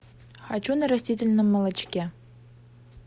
хочу на растительном молочке